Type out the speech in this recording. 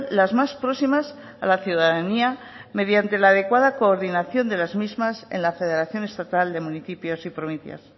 las más próximas a la ciudadanía mediante la adecuada coordinación de las mismas en la federación estatal de municipios y provincias